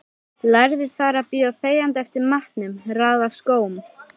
Lærði þar að bíða þegjandi eftir matnum, raða skóm.